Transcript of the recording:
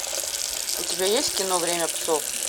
у тебя есть кино время псов